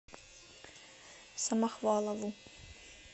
самохвалову